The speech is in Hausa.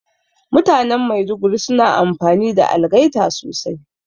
Mutanan Maiduguri suna amfani da algaita sosai